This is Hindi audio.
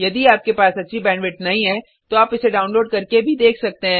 यदि आपके पास अच्छी बैंडविड्थ नहीं है तो आप इसे डाउनलोड करके भी देख सकते हैं